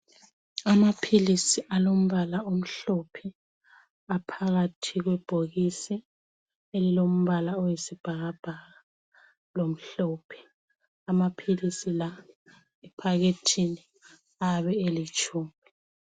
amaphilisi alompala omhlophe aphakathi kwebhokisi elilompala oyisibhakabhaka lomhlophe amaphilisi la ephakethini ayabe elitshumi